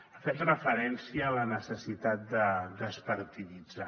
ha fet referència a la necessitat de despartiditzar